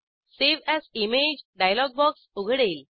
save as image dialog box उघडेल